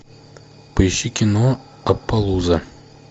поищи кино аппалуза